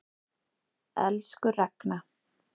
Elsku Ragna.